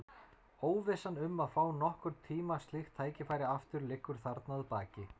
Óvissan um að fá nokkurn tíma slíkt tækifæri aftur liggur þarna að baki.